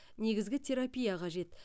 негізгі терапия қажет